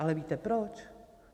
Ale víte proč?